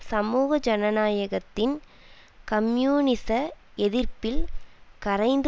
சமூக ஜனநாயகத்தின் கம்யூனிச எதிர்ப்பில் கரைந்து